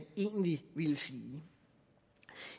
egentlig ville sige